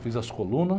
Fiz as colunas.